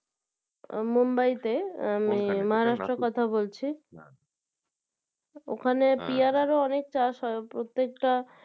Mumbai তে আমি Maharashtra এর কথা বলছি ওখানে পিয়ারার ও অনেক চাষ হয় প্রত্যেকটা